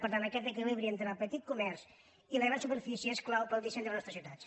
per tant aquest equilibri entre el petit comerç i les grans superfícies és clau per al disseny de les nostres ciutats